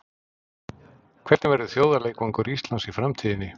Hvernig verður þjóðarleikvangur Íslands í framtíðinni?